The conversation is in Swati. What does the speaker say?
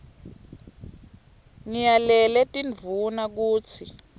ngiyalele tindvuna kutsi